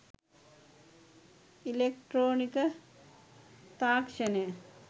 ඉලෙක්ට්‍රොනික තාක්‍ෂණය